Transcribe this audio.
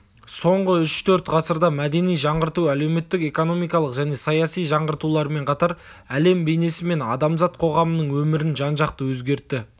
соңғы үш-төрт ғасырда мәдени жаңғырту әлеуметтік экономикалық және саяси жаңғыртулармен қатар әлем бейнесі мен адамзат қоғамының өмірін жан-жақты өзгертті